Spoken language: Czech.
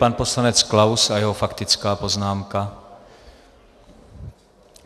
Pan poslanec Klaus a jeho faktická poznámka.